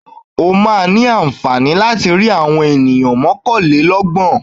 Ó máa ní àǹfààní láti rí àwọn ènìyàn mọ́kàlélọ́gbọ̀n.